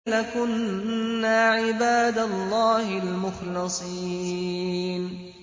لَكُنَّا عِبَادَ اللَّهِ الْمُخْلَصِينَ